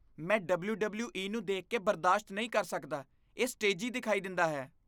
ਮੈਂ ਡਬਲਯੂ.ਡਬਲਯੂ.ਈ. ਨੂੰ ਦੇਖ ਕੇ ਬਰਦਾਸ਼ਤ ਨਹੀਂ ਕਰ ਸਕਦਾ। ਇਹ ਸਟੇਜੀ ਦਿਖਾਈ ਦਿੰਦਾ ਹੈ।